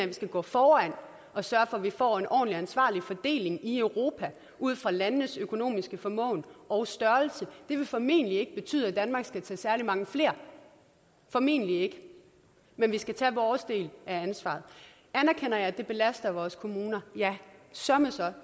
vi skal gå foran og sørge for at vi får en ordentlig og ansvarlig fordeling i europa ud fra landenes økonomiske formåen og størrelse det vil formentlig ikke betyde at danmark skal tage særlig mange flere formentlig ikke men vi skal tage vores del af ansvaret anerkender jeg at det belaster vores kommuner ja søreme så